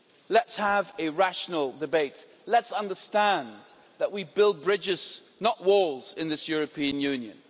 Let's have a rational debate, let's understand that we build bridges not walls in this European Union.